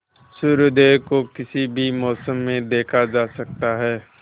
सूर्योदय तो किसी भी मौसम में देखा जा सकता है